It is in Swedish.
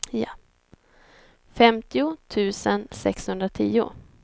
femtio tusen sexhundratio